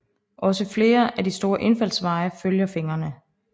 Også flere af de store indfaldsveje følger fingrene